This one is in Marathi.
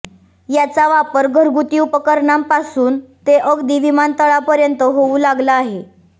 याचा वापर घरगुती उपकरणांपासून ते अगदी विमानतळापर्यंत होऊ लागला आहे